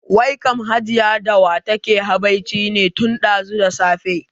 Wai kam Hajiya da wa take habaici ne tun ɗazu da safe?